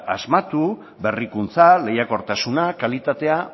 asmatu berrikuntza lehiakortasuna kalitatea